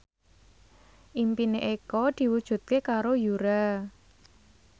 impine Eko diwujudke karo Yura